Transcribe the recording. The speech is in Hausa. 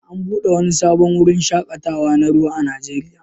An buɗe wani sabon wurin shaƙatawa na ruwa a Najeriya